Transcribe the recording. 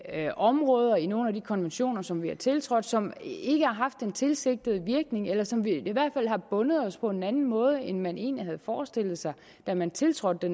er områder i nogle af de konventioner som vi har tiltrådt som ikke har haft den tilsigtede virkning eller som i hvert fald har bundet os på en anden måde end man egentlig havde forestillet sig da man tiltrådte